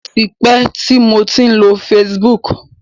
Ó ti pẹ́ tí mo ti lo Facebook.